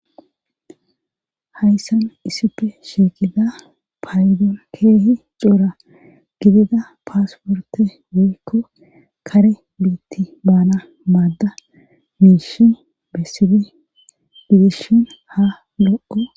Hayssan issife sheeqida paydon keehi coura gidida paasporte woykko kare biitti baana maadda miishi bessibi gidishshin ha lo7o